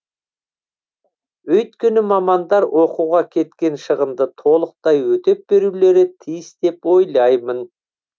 өйткені мамандар оқуға кеткен шығынды толықтай өтеп берулері тиіс деп ойлаймын